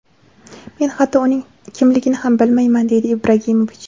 Men hatto uning kimligini ham bilmayman”, deydi Ibragimovich.